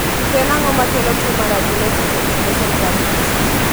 To en ango makelo tuo mar Agenesis of the dorsal pancreas?